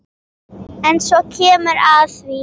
En svo kemur að því.